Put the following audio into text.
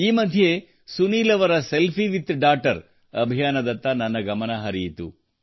ಈ ಮಧ್ಯೆ ಸುನೀಲ್ ಅವರ ಸೆಲ್ಫಿ ವಿತ್ ಡಾಟರ್ ಅಭಿಯಾನದತ್ತ ನನ್ನ ಗಮನ ಹರಿಯಿತು